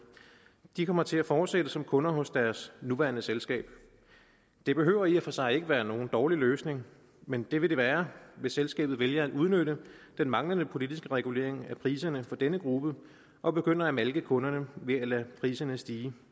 kommer til at fortsætte som kunder hos deres nuværende selskab det behøver i og for sig ikke være nogen dårlig løsning men det vil det være hvis selskabet vælger at udnytte den manglende politiske regulering af priserne for denne gruppe og begynder at malke kunderne ved at lade priserne stige